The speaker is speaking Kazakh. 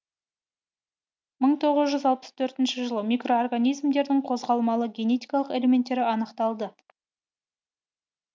мың тоғыз жүз алпыс тоғызыншы жылы микроорганизмдердің қозғалмалы генетикалық элементтері анықталды